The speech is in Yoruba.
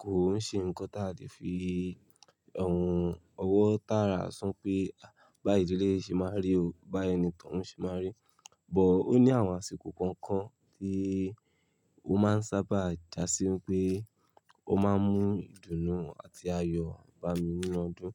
Kò ń ṣe ǹkan tí a lè fi ẹhm ọwọ́ tààrà sọ pé báyìí leleyi ṣe máa n rí o, báyìí ni tóuń ṣe máa rí. But ó ní àwọn àsìkò kọ̀ọ̀kan tí ó máa ń sábà jásí wipé ó máa ń mú ìdùnnú àti ayọ̀ bá mi nínú ọdún.